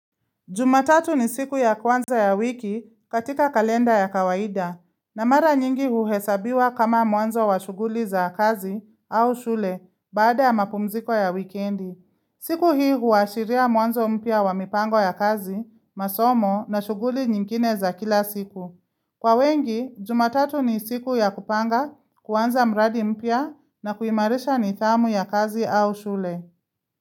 Jumatatu ni siku ya kwanza ya wiki katika kalenda ya kawaida, na mara nyingi huhesabiwa kama mwanzo wa shuguli za kazi au shule baada ya mapumziko ya wikendi. Siku hii huashiria mwanzo mpya wa mipango ya kazi, masomo na shuguli nyingine za kila siku. Kwa wengi, jumatatu ni siku ya kupanga, kwanza mradi mpia na kuimarisha nithamu ya kazi au shule.